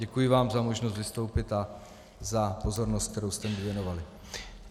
Děkuji vám za možnost vystoupit a za pozornost, kterou jste mi věnovali.